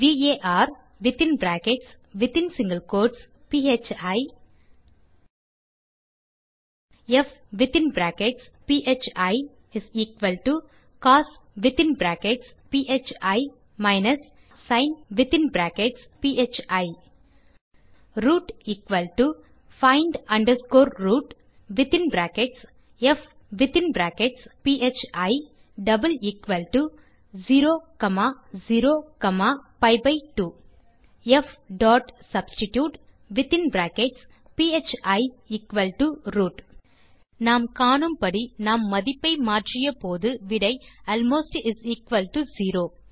varபி ப் cos sin root find rootப் 00பி2 fsubstitutephiரூட் நாம் காணும்படி நாம் மதிப்பை மாற்றிய போது விடை அல்மோஸ்ட் 0